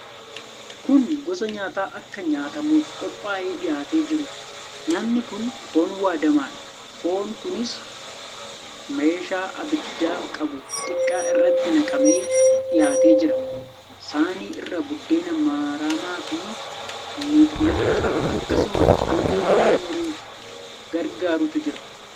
Kun gosa nyaataa akka nyaatamuuf qophaa'ee dhihaatee jiruudha. Nyaatni kun foon waadamaadha. Foonni kunis meeshaa abidda qabu xiqqaa irratti naqamee dhihaatee jira. Saanii irra buddeen maramaafi miximixa, akkasumas albee foon muruuf gargaarutu jira.